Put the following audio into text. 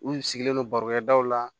U sigilen don baro kɛ daw la